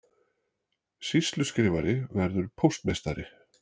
Sýsluskrifari verður póstmeistari